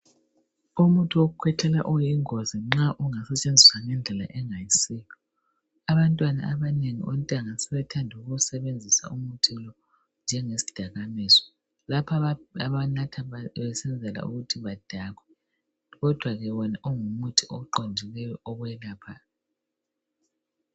Umuthi wokukhwehlela uyingozi nxa ungawusebenzisa ngendlela engayisiyo. Abantwana abanengi ontanga sebethanda ukuwusebenzisa umuthi lo njengesidakamizwa, lapha abanatha khona besenzela ukuthi badakwe kodwa ke wona ngumuthi oqondileyo okwelaphayo.